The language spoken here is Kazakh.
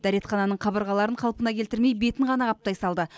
дәретхананың қабырғаларын қалпына келтірмей бетін ғана қаптай салды